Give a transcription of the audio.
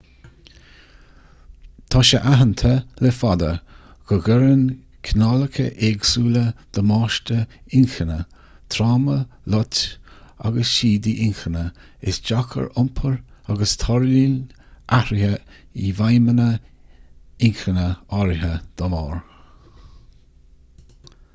tá sé aitheanta le fada go gcuireann cineálacha éagsúla damáiste inchinne tráma loit agus siadaí inchinne isteach ar iompar agus tarlaíonn athraithe i bhfeidhmeanna inchinne áirithe dá mbarr